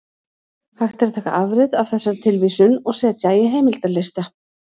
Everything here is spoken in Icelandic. Hægt er að taka afrit af þessari tilvísun og setja í heimildalista.